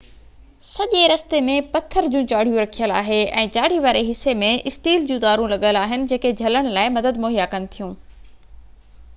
سڄي رستي ۾ پٿر جون چاڙهيون رکيل آهي ۽ چاڙهي واري حصي ۾ اسٽيل جون تارون لڳل آهن جيڪي جهلڻ لاءِ مدد مهيا ڪن ٿيون